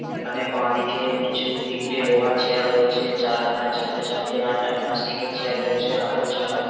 এখানে বাঁদিকে কিছু তিনটে লোহার চেয়ার রয়েছে। চারহাট চারটে চারটে আটটা প্লাস্টিকের চেয়ার রয়েছে হাতল ছাড়া ।